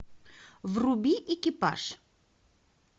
вруби экипаж